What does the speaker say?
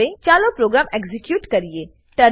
હવે ચાલો program execute કરીએ